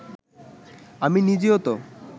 আমি নিজেও তো